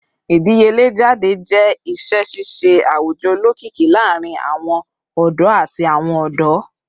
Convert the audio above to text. Idiyele jade jẹ iṣẹ ṣiṣe awujọ olokiki laarin awọn ọdọ ati awọn ọdọ